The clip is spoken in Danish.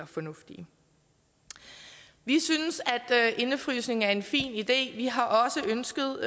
fornuftige vi synes at indefrysning er en fin idé vi har også ønsket